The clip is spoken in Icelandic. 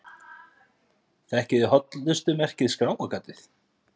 Þekkið þið hollustumerkið Skráargatið?